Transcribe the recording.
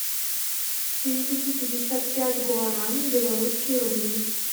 переведи пятьдесят пять гуарани в белорусские рубли